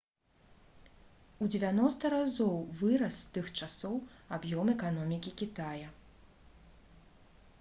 у 90 разоў вырас з тых часоў аб'ём эканомікі кітая